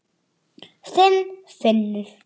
Þinn Finnur.